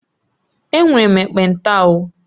Enwere m ekpenta o